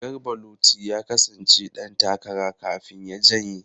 Garba Luti ya kasance dan takara kafin ya janye.